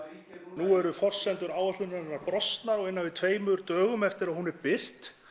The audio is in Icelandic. nú eru forsendur áætlunarinnar brostnar á innan við tveimur dögum eftir að hún er birt